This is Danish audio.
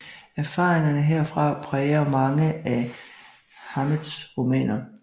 Erfaringerne herfra præger mange af Hammetts romaner